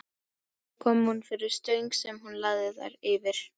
Þar kom hún fyrir stöng sem hún lagði þær yfir.